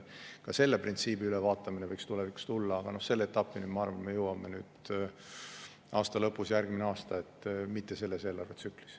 Ka see printsiip tuleks tulevikus üle vaadata, aga selle etapini me jõuame, ma arvan, aasta lõpus või järgmisel aastal, mitte selles eelarvetsüklis.